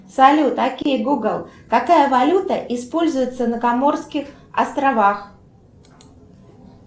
салют окей гугл какая валюта используется на каморских островах